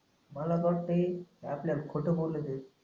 मला फक्त एक आपल्याला खोट बोलू दे